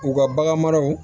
U ka bagan maraw